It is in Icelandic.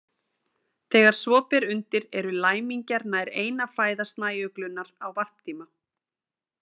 Þegar svo ber undir eru læmingjar nær eina fæða snæuglunnar á varptíma.